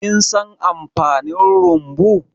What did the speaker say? Kin san amfanin rumbu?